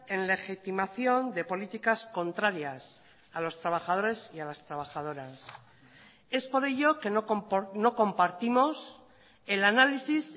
en legitimación de políticas contrarias a los trabajadores y a las trabajadoras es por ello que no compartimos el análisis